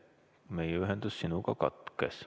Meie ühendus sinuga katkes.